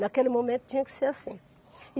Naquele momento tinha que ser assim.